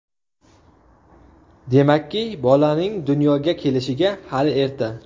Demakki, bolaning dunyoga kelishiga hali erta.